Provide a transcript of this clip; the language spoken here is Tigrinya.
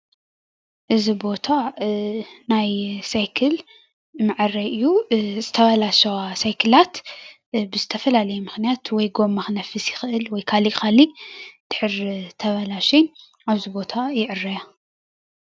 እዚ ቦታ ናይ ሳይክል መዐረይ እዩ ዝተበላሸዋ ሳይክላት ብዝተፈላለዩ ምክንያት ወይ ጎማ ክነፍስ ይክእል ወይ ካሊእ ካሊእ እንድሕር ተበላሸዩ አብዚ ቦታ ይዕረያ።